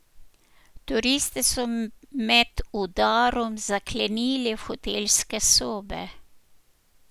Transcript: Turiste so med udarom zaklenili v hotelske sobe.